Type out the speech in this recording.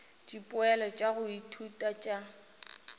dipoelo tša go ithuta tša